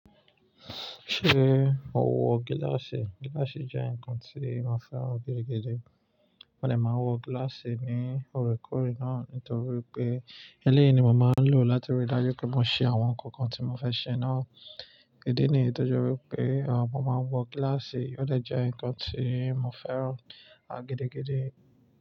Ṣé o wọ gíláàsì? Gíláàsì jẹ́ nǹkan tí mo fẹ́ran gidigidi. Mo de máa n wọ gíláàsì ní òrekòóre náà nítorí pé eléyìí ni mo máa ń lò láti rí dájú pé mo ṣe àwọn nǹkan kan tí mo fẹ́ ṣe náà. Idí nìyí tó jẹ́ wípé, awon kan máa ń wọ gíláàsì, ó dẹ̀ jẹ́ nǹkan tí mo fẹ́ran, à, gidigidi.